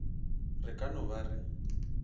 re ka no ba re